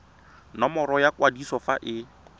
nomoro ya kwadiso fa e